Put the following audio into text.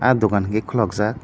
ahh dukan inkhe khuluk jaak.